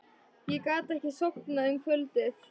Ég gat ekki sofnað um kvöldið.